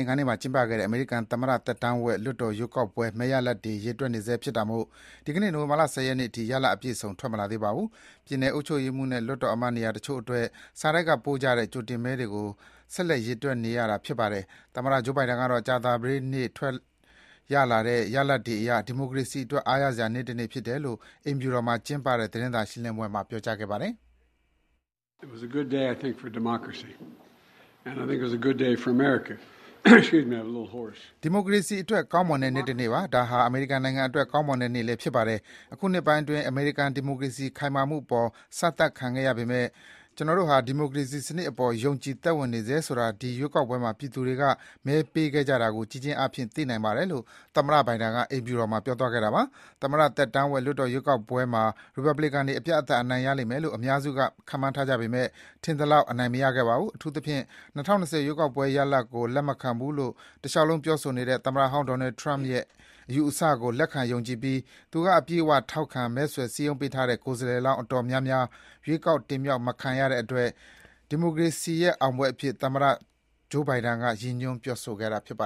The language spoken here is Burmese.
င်္ဂါနေ့မှာကျင်းပခဲ့တဲ့ အမေရိကန်သမ္မတသက်တမ်းဝက် လွှတ်တော်ရွေးကောက်ပွဲ မဲရလဒ်တွေ ရေတွက်နေဆဲဖြစ်တာမို့ ဒီကနေ့ နိုဝင်ဘာ ၁၀ ရက်နေ့အထိ ရလဒ်အပြည့်အစုံ ထွက်မလာသေးပါဘူး။ ပြည်နယ်အုပ်ချုပ်ရေးမှူးနဲ့ လွှတ်တော်အမတ်နေရာတချို့အတွက် စာတိုက်ကပို့ကြတဲ့ ကြိုတင်မဲတွေကို ဆက်လက်ရေတွက်နေရတာဖြစ်ပါတယ်။ သမ္မတ Joe Biden ကတော့ ကြာသပတေးနေ့ထွက်လာတဲ့ ရလဒ်တွေအရ ဒီမိုကရေစီအတွက် အားရစရာနေ့တနေ့ဖြစ်တယ်လို့ အိမ်ဖြူတော်မှာ ကျင်းပတဲ့ သတင်းစာရှင်းလင်းပွဲမှာ ပြောကြားခဲ့ပါတယ်။ “ဒီမိုကရေစီအတွက် ကောင်းမွန်တဲ့နေ့တနေ့ပါ။ ဒါဟာ အမေရိကန်နိုင်ငံအတွက် ကောင်းမွန်တဲ့နေ့လည်း ဖြစ်ပါတယ်။ အခုနှစ်ပိုင်းတွေအတွင်း အမေရိကန် ဒီမိုကရေစီစနစ်ခိုင်မာမှုအပေါ် စမ်းသပ်ခံခဲ့ရပေမဲ့ ကျနော်တို့ဟာ ဒီမိုကရေစီစနစ်အပေါ် ယုံကြည်သက်ဝင်နေဆဲဆိုတာ ဒီရွေးကောက်ပွဲမှာ ပြည်သူတွေ မဲပေးခဲ့ကြတာကို ကြည့်ခြင်းအားဖြင့် သိနိုင်ပါတယ်” - လို့ သမ္မတ Biden က ပြောကြားသွားတာပါ။ သမ္မတသက်တမ်းဝက် လွှတ်တော်ရွေးကောက်ပွဲမှာ ရီပတ်ဘလီကန်တွေ အပြတ် အသတ် အနိုင်ရလိမ့်မယ်လို့ အများစုကခန့်မှန်းထားကြပေမယ့် ထင်သလောက် အနိုင်မရခဲ့ပါဘူး။ အထူးသဖြင့် ၂၀၂၀ ရွေးကောက်ပွဲရလဒ်ကို လက်မခံဘူးလို့ တလျှောက်လုံး ပြောဆိုနေတဲ့ သမ္မတဟောင်း Donald Trump ရဲ့ အယူအဆကို လက်ခံယုံကြည်ပြီး သူက အပြည့်အဝထောက်ခံ၊ မဲဆွယ် စည်းရုံးပေးထားတဲ့ ကိုယ်စားလှယ်လောင်း အတော်များများ ရွေးကောက် တင်မြှောက်မခံရခဲ့တဲ့အတွက် ဒီမိုကရေစီရဲ့အောင်ပွဲအဖြစ် သမ္မတ Biden က ရည်ညွန်း ပြောဆိုခဲ့တာပါ